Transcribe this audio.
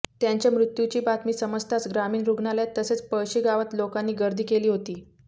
त्यांच्या मृत्यूची बातमी समजताच ग्रामीण रुग्णालयात तसेच पळशी गावात लोकांनी गर्दी केली होती